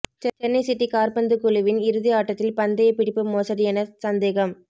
Chennai city காற்பந்து குழுவின் இறுதி ஆட்டத்தில் பந்தயப்பிடிப்பு மோசடி என சந்தேகம்